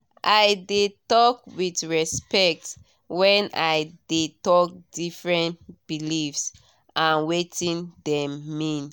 i de talk with respect when i de talk different believes and wetin dem mean